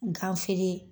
Gan feere